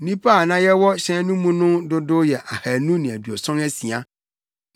Nnipa a na yɛwɔ hyɛn no mu no dodow yɛ ahannu ne aduɔson asia.